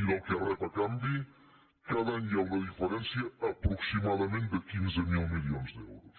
i del que rep a canvi cada any hi ha una diferència aproximadament de quinze mil milions d’euros